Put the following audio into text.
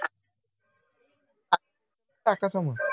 टाकायचं मग